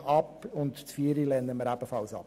Die Planungserklärung 4 lehnen wir ebenfalls ab.